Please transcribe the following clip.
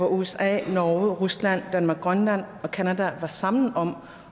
usa norge rusland danmarkgrønland og canada sammen og